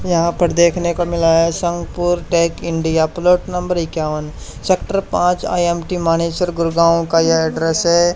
यहां पर देखने को मिला है Sangh Purna tech India plot number इक्यावन सेक्टर पांच आई_एम_टी मानेसर गुडगांव का यह एड्रेस है।